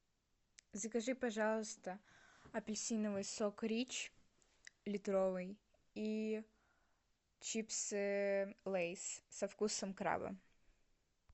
закажи пожалуйста апельсиновый сок рич литровый и чипсы лейс со вкусом краба